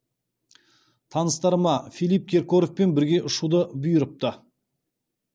таныстарыма филипп киркоровпен бірге ұшуды бұйырыпты